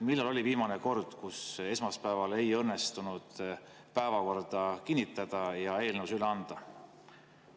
Millal oli viimane kord, kui esmaspäeval ei õnnestunud päevakorda kinnitada ja eelnõusid üle anda?